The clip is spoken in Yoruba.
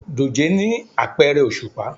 Dòjé ni apẹrẹ oṣupa